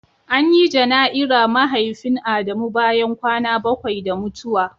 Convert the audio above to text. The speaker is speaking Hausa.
An yi janai'ra Mahaifin Adamu bayan kwana bakwai da mutuwa.